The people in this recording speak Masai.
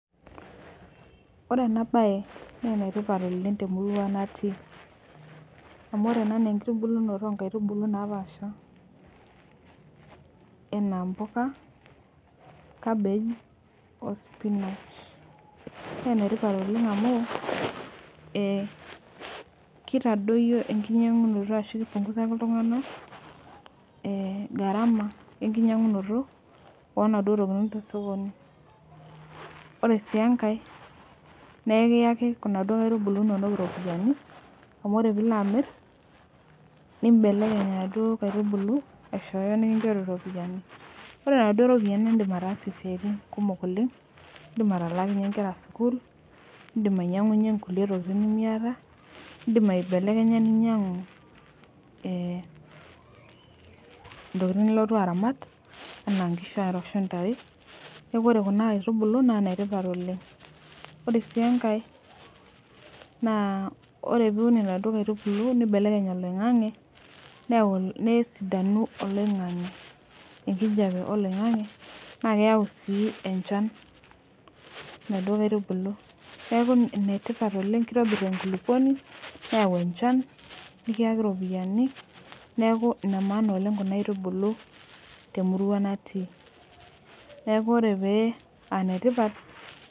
Ore enabae na enetipat oleng temurua natii amu ore ena na enkitubulunoto onkaitubulu napaasha enaa mpuka kabej o sipinach na enetipat oleng amu ekitadoyio enkianyangunoto e garama onaduo tokitin tosokoni ore si enkae na ekuyaki naduo aitubulu inonok ropiyani amu ore pilo amir nibelekeny naduo aitubulu aishooyo nikinchori ropiyani ore naduo ropiyiani idim ataasie ntokitin kumok oleng indim atalakinye nkera sukul indim ainyangunyie nkulie tokitin nimiata indim ninyangu ntokitin nilotu aramat ana nkishu ontare neaku ore kuna aitubulu na netipat oleng ore si enkae na ore piun naduo aitubulu nibelekeny oloingangi neyau nesidanu oloingangi nesidanu enkijape oloingangi na keyau si enchan naduo aitubulu neaku enetipat oleng kitobir enkulukuoni neyau enchan neaku enemaana oleng kuna aitubulu temurua natii neaku ore paa netipat.